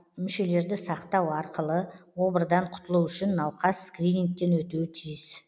мүшелерді сақтау арқылы обырдан құтылу үшін науқас скринигтен өтуі тиіс